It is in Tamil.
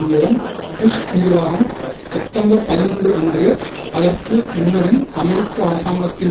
மூலம் புஷ் நிர்வாகம் செப்டம்பர்பதினொன்று அன்று அதற்கு முன்னரும் அமெரிக்க அரசாங்கத்தின்